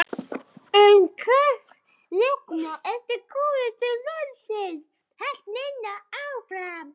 En hvers vegna ertu kominn til landsins? hélt Nína áfram.